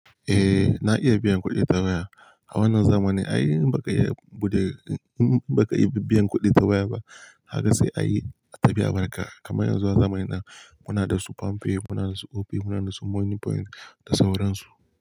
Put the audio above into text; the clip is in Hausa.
Eh na iya biyan kuɗi ta waya. A wannan zamanin ai in baka iya buɗe, in baka iya biyan kuɗi ta waya ba kaga sai ayi, tafi a barka. Kamar yanzu a zamanin nan muna da su Pam pay, muna da su Opay, muna da su Money point da sauran su.